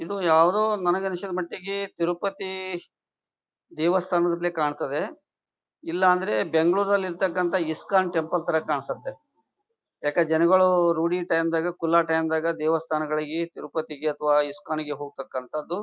ಇದು ಯಾವುದೊ ನನಗನಿಸಿದ ಮಟ್ಟಿಗೆ ತಿರುಪತಿ ದೇವಸ್ಥಾನಗತ್ಲೆ ಕಾಣತದೆ. ಇಲ್ಲಾಂದ್ರೆ ಬೆಂಗಳೂರಲ್ಲಿ ಇರತಕ್ಕಂತ ಇಸ್ಕಾನ್ ಟೆಂಪಲ್ ತರ ಕಾಣ್ಸುತ್ತೆ. ಯಾಕೆ ಜನಗಳು ರೂಡಿ ಟೈಮ್ ದಾಗ ಫುಲ್ಲ ಟೈಮ್ ದಾಗೆ ದೇವಸ್ಥಾನಗಳಿಗೆ ತಿರುಪತಿಗೆ ಅಥವಾ ಇಸ್ಕಾನ್ ಗೆ ಹೋತಕ್ಕಂತದ್ದು.